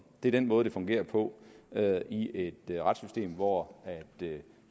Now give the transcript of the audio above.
det er den måde det fungerer på i et retssystem hvor